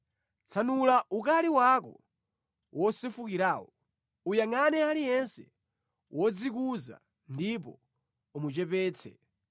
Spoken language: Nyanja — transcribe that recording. Tsanula ukali wako wosefukirawo, uyangʼane aliyense wodzikuza ndipo umuchepetse,